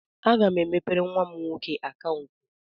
Aga m emepere nwa m nwoke akaụntụ.